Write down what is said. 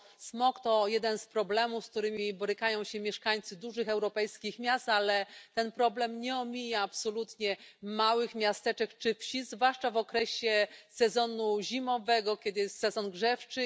Smog to jeden z problemów, z którymi borykają się mieszkańcy dużych europejskich miast, ale ten problem nie omija absolutnie małych miasteczek czy wsi, zwłaszcza w sezonie zimowym, kiedy jest sezon grzewczy.